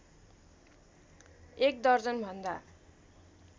एक दर्जन भन्दा